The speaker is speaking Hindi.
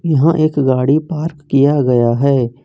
यहां एक गाड़ी पार्क किया गया है।